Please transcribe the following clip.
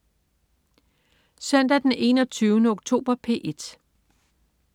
Søndag den 21. oktober - P1: